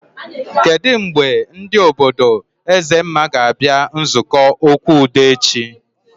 Kedụ mgbe ndị obodo Ezemma ga abịa nzukọ okwu udo echi?